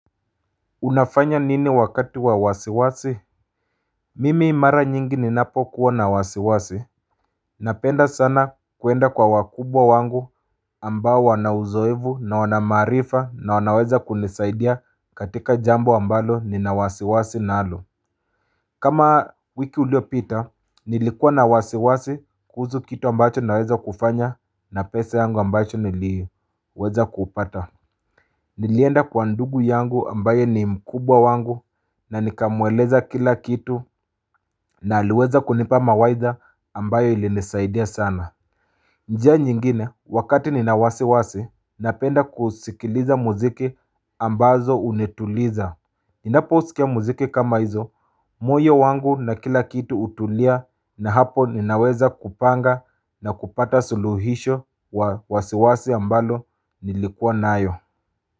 Unafanya nini wakati wa wasiwasi? Mimi mara nyingi ninapokuwa na wasiwasi. Napenda sana kuenda kwa wakubwa wangu ambao wana uzoefu na wana maarifa na wanaweza kunisaidia katika jambo ambalo nina wasiwasi nalo. Kama wiki uliopita, nilikua na wasiwasi kuhusu kitu ambacho naweza kufanya na pesa yangu ambacho niliweza kupata. Nilienda kwa ndugu yangu ambaye ni mkubwa wangu na nikamweleza kila kitu na aliweza kunipa mawaidha ambayo ilinisaidia sana. Njia nyingine wakati nina wasiwasi, napenda kusikiliza muziki ambazo hunituliza. Nnaposikia muziki kama hizo, moyo wangu na kila kitu hutulia na hapo ninaweza kupanga na kupata suluhisho wa wasiwasi ambalo nilikuwa nayo.